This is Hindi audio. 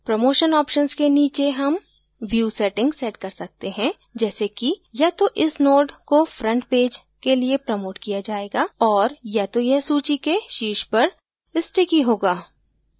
promotion options के नीचे हम view settings set कर सकते हैं जैसे कि या तो इस node को फ्रंट पैज के लिए प्रमोट किया जायेगा और या तो यह सूची के शीर्ष पर स्टिकी होगा